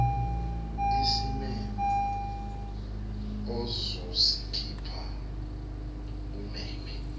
izimemo ozozikhipha umema